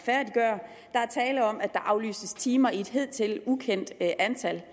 er tale om at der aflyses timer i et hidtil ukendt antal